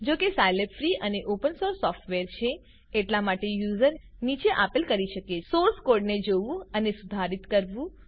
જો કે Scilab free અને ઓપન સોર્સ સોફ્ટવેર છે એટલા માટે યુઝર નીચે આપેલ કરી શકે છે સોર્સ કોડને જોવું અને સુધારિત કરવું